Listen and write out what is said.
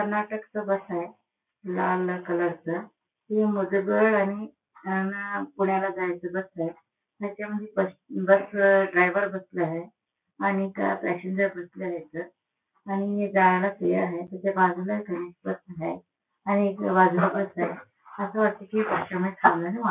कर्नाटकच bus आहे लाल colour च अन पुण्याला जायच बस हाय त्याच्यामध्ये बस ड्रायवर वर बसलाय आणिख पॅसेंजर बसले हायेत --